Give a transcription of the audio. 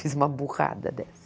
Fiz uma burrada dessa.